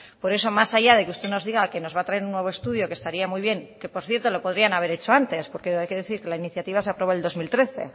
por eso más allá de que usted nos diga que nos va a traer un nuevo estudio que estaría muy bien que por cierto lo podrían haber hecho antes porque hay que decir que la iniciativa se aprobó en el dos mil trece